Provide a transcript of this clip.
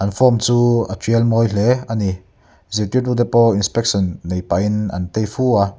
an form chu a ṭial mawi hle ani zirtirtu te pawh inspection nei pahin an tei fu a--